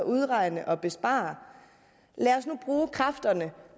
udregninger og besparelser lad os nu bruge kræfterne